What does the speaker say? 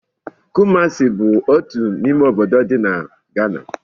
Kumasi bụ otu n'ime obodo dị na Ghana